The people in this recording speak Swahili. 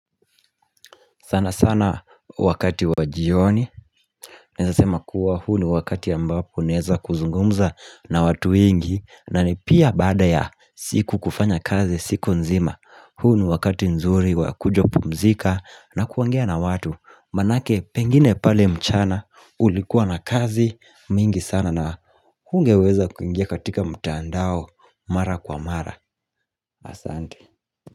Sana sana wakati wajioni Naezasema kuwa huu ni wakati ambapo naweza kuzungumza na watu wengi na ni pia baada ya siku kufanya kazi siku nzima huu ni wakati nzuri wakuja pumzika na kuongea na watu Maanake pengine pale mchana ulikuwa na kazi mingi sana na hungeweza kuingia katika mtandao Mara kwa mara Asante.